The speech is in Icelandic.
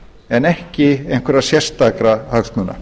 en ekki einhverra sérstakra hagsmuna